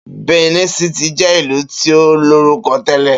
Benin City jẹ́ ìlú tí ó lórúkọ tẹ̀lẹ́